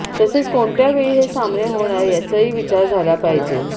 तसेच कोणत्या वेळी हे सामने होणार याचाही विचार झाला पाहिजे